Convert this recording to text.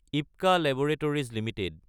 IPCA laboratories Ltd